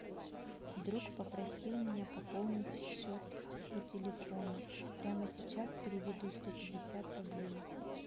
друг попросил меня пополнить счет его телефона прямо сейчас переведу сто пятьдесят рублей